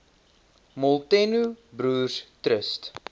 molteno broers trust